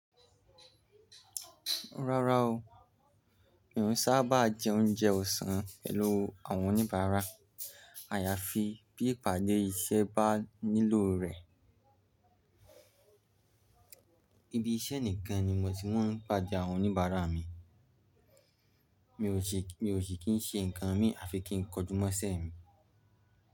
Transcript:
Rárá o, mi ò n sábà jẹ oúnjẹ ọ̀sán pẹ̀lú àwọn oníbàárà. Àyàfi bí ìpàdé iṣẹ́ bá nílò rẹ̀. Ibi iṣẹ́ nìkan ni mo ti máa ń pàde àwọn oníbàárà mi. Mi ò ṣe, mi ò ṣe kí n ṣe nǹkan mi àfi kí n kojúmọ́ṣẹ́ mi.